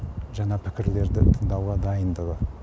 жаңа пікірлерді тыңдауға дайындығы